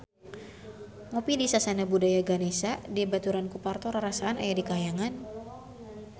Ngopi di Sasana Budaya Ganesha dibaturan ku Parto rarasaan aya di kahyangan